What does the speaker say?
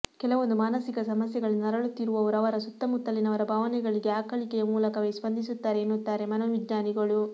ಕೆಲವೊಂದು ಮಾನಸಿಕ ಸಮಸ್ಯೆಗಳಿಂದ ನರಳುತ್ತಿರುವವರು ಅವರ ಸುತ್ತಮುತ್ತಲಿನವರ ಭಾವನೆಗಳಿಗೆ ಆಕಳಿಕೆಯ ಮೂಲಕವೇ ಸ್ಪಂದಿಸುತ್ತಾರೆ ಎನ್ನುತ್ತಾರೆ ಮನೋವಿಜ್ಞಾನಿಗಳು